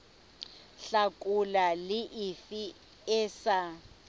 hlakola le efe e sa